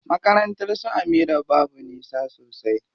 Makarnatar su Amira babu nisa sosai.